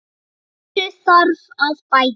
Úr þessu þarf að bæta.